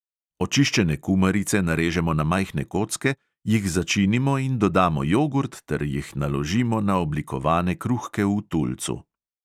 Očiščene kumarice narežemo na majhne kocke, jih začinimo in dodamo jogurt ter jih naložimo na oblikovane kruhke v tulcu.